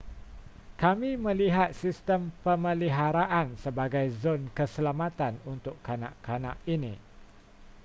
kami melihat sistem pemeliharaan sebagai zon keselamatan untuk kanak-kanak ini